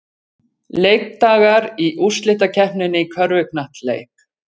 Leikdagar í úrslitakeppninni í körfuknattleik